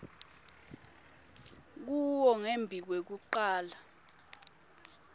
kuwo ngembi kwekucala